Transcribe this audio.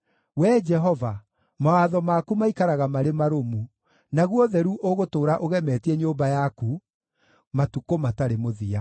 Wee Jehova, mawatho maku maikaraga marĩ marũmu; naguo ũtheru ũgũtũũra ũgemetie nyũmba yaku matukũ matarĩ mũthia.